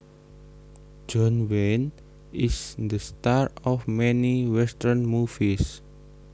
John Wayne is the star of many western movies